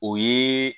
O ye